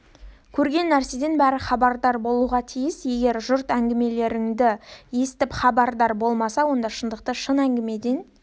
көрген нәрседен бәрі хабардар болуға тиіс егер жұрт әңгімелерді естіп хабардар болмаса онда шындықты шын әңгімеден